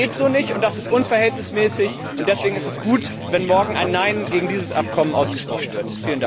Das geht so nicht, und das ist unverhältnismäßig, und deswegen ist es gut, wenn morgen ein Nein gegen dieses Abkommen ausgesprochen wird.